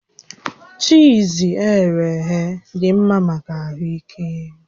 Chiiz eghere eghe dị mma maka ahụ ike